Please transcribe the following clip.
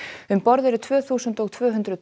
um borð eru tvö þúsund og tvö hundruð